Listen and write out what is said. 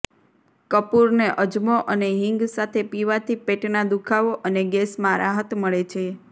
કપૂરને અજમો અને હીંગ સાથે પીવાથી પેટના દુખાવો અને ગેસમાં રાહત મળે છે